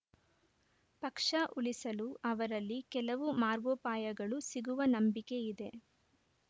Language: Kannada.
ಪಕ್ಷ ಉಳಿಸಲು ಅವರಲ್ಲಿ ಕೆಲವು ಮಾರ್ಗೋಪಾಯಗಳು ಸಿಗುವ ನಂಬಿಕೆ ಇದೆ